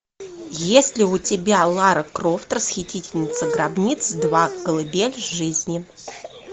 есть ли у тебя лара крофт расхитительница гробниц два колыбель жизни